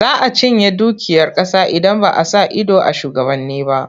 Za a cinye dukiyar ƙasa idan ba a sa ido a shugabanni ba.